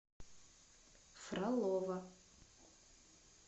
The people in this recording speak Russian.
фролово